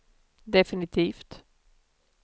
definitivt